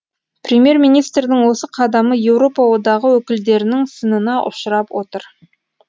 премьер министрдің осы қадамы еуропа одағы өкілдерінің сынына ұшырап отыр